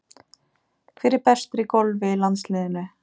Hver er bestur í golfi í landsliðinu?